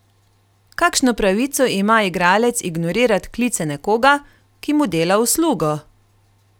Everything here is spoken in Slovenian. Kakšno pravico ima igralec ignorirat klice nekoga, ki mu dela uslugo?